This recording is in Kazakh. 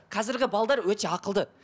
қазіргі өте ақылды